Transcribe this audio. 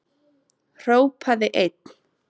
Hrópaði einn: